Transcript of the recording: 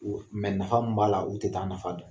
nafa min b'a la u tɛ t'a nafa dɔn.